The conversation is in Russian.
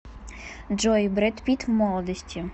джой брэд питт в молодости